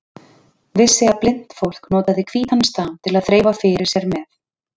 Vissi að blint fólk notaði hvítan staf til að þreifa fyrir sér með.